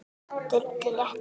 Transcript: Sturlu létti.